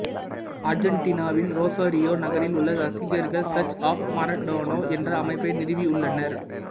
அர்ஜென்டினாவின் Rosario நகரில் உள்ள ரசிகர்கள் சர்ச் ஆப் மரடோனா என்ற அமைப்பை நிறுவியுள்ளனர்